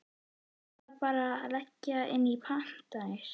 Væri það bara að leggja inn pantanir?